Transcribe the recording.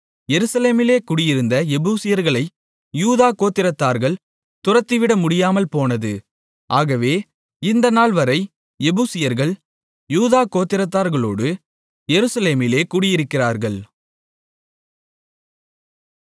எருசலேமிலே குடியிருந்த எபூசியர்களை யூதா கோத்திரத்தார்கள் துரத்திவிடமுடியாமல்போனது ஆகவே இந்த நாள்வரை எபூசியர்கள் யூதா கோத்திரத்தார்களோடு எருசலேமிலே குடியிருக்கிறார்கள்